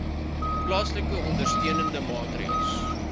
toepaslike ondersteunende maatreëls